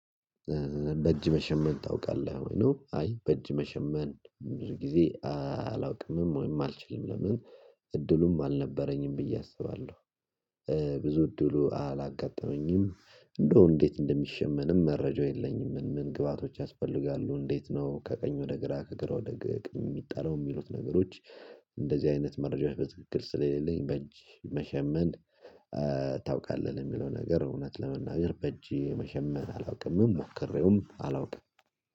በእጅ መሸመን ታውቃለህ ወይ ነው አይ በእጅ መሸመን ብዙ ጊዜ አላውቅምም ወይም አልችልምም እድሉም አልነበረኝም ብዬ አስባለሁ ብዙ እድሉ አላጋጠመኝም እንደው እንዴት እንደሚሸመንም መረጃው የለኝም ምን ምን ግብአቶች ያስፈልጋሉ እንዴት ነው ከቀኝ ወደ ግራ ከግራ ወደ ግራ ሚጣላው ሚሉት ነገሮች እንደዚህ አይነት መረጃዎች በትክክል ስለሌለኝ በእጅ መሸመን ታውቃለህ ለሚለው ነገር እውነት ለመናገር በእጅ መሸመን አላውቅምም ሞክሬውም አላውቅም።